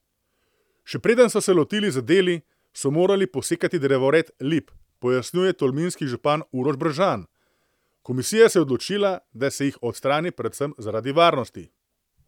Še preden so se lotili z deli, so morali posekati drevored lip, pojasnjuje tolminski župan Uroš Brežan: 'Komisija se je odločila, da se jih odstrani predvsem zaradi varnosti.